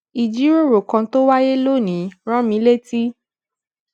ìjíròrò kan tó wáyé lónìí rán mi létí